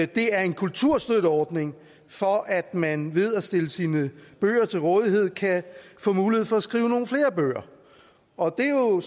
det er en kulturstøtteordning for at man ved at stille sine bøger til rådighed kan få mulighed for at skrive nogle flere bøger og det er jo